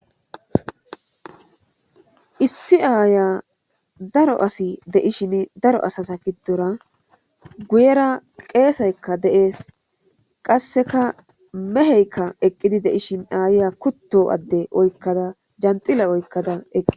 Issi aayiya daro asi de7ishini daro asaza gidora goyera qeessetekka de7ees. Qassekka meheeka eqqidi de7ishin aayiya kutto adde oykkada janxxila oykkada.